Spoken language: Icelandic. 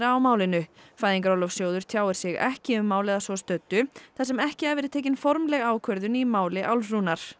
á málinu Fæðingarorlofssjóður tjáir sig ekki um málið að svo stöddu þar sem ekki hafi verið tekin formleg ákvörðun í máli